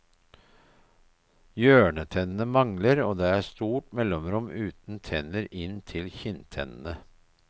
Hjørnetennene mangler og det er stort mellomrom uten tenner inn til kinntennene.